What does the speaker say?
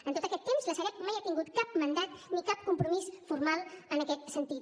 en tot aquest temps la sareb mai ha tingut cap mandat ni cap compromís formal en aquest sentit